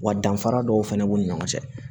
Wa danfara dɔw fana b'u ni ɲɔgɔn cɛ